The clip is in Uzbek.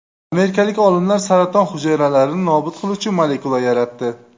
Amerikalik olimlar saraton hujayralarini nobud qiluvchi molekula yaratdi.